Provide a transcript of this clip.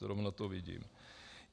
Zrovna to vidím.